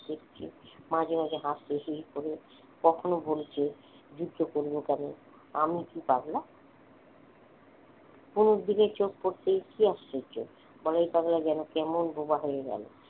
মাঝে মাঝে হাসতে হি হি করে কখনো বলছে যুদ্ধ করবো কেন আমি কি পাগলা অনুর দিকে চোখ পড়তেই কি আশ্চর্য বলাই পাগলা যেন কেমন বোবা হয়ে গেল